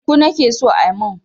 Shuku nake so a mun.